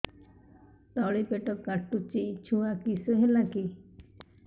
ତଳିପେଟ କାଟୁଚି ଛୁଆ କିଶ ହେଲା କି